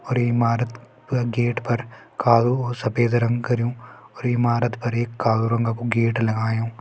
और ये इमारत प गेट पर कालू और सफेद रंग करयू और इमारत पर एक कालू रंगकु गेट लगायूं।